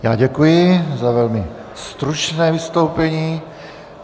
Já děkuji za velmi stručné vystoupení.